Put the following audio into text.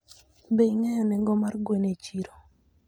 Be ing'eyo nengo mar gwen e chiro?